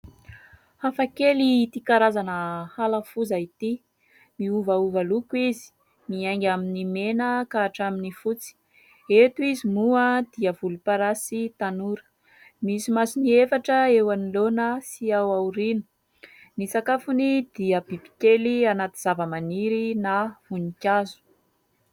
Hafa kely ity karazana hala foza ity miovaova loko izy, miainga amin'ny mena ka hatramin'ny fotsy, eto izy moa dia volomparasy tanora, misy masony efatra eo anoloana sy ao aoriana, ny sakafony dia bibikely anaty zavamaniry na voninkazo.